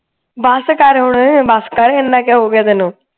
ਬਸ ਕਰ ਹੁਣ ਬਸ ਕਰ ਇੰਨਾ ਕਿਉਂ ਹੋ ਗਿਆ ਤੈਨੂੰ